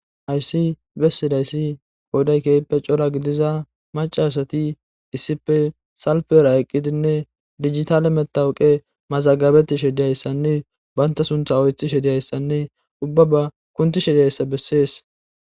ayssi bessidayssi kooday keyppe cora gidiza macasati issipe salpera eqqidinne digitale metawuqe mazagabetishe diyayssanne banta suntha oythi she diyayssanne ubba ba kunti she diyayssa bessees